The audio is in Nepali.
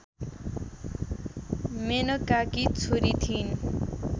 मेनकाकी छोरी थिइन्